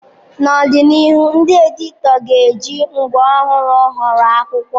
N'ọdịnihu, ndị editọ ga-eji ngwa ọhụrụ họrọ akụkọ.